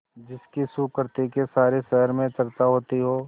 जिसकी सुकृति की सारे शहर में चर्चा होती हो